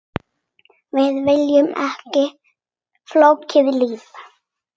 Við viljum ekki flókið líf.